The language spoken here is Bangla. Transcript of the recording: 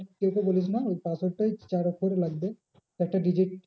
কাউকে বলিস না password টাই চার অক্ষরের লাগবে চারটে digit